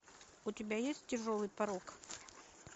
у тебя есть тяжелый порок